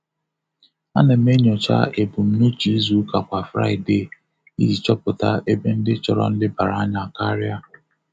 A na m enyocha ebumnuche izu ụka kwa fraịdee iji chọpụta ebe ndị chọrọ nlebara anya karịa.